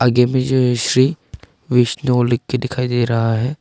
आगे मे जो श्री वैष्णो लिख के दिखाई दे रहा है।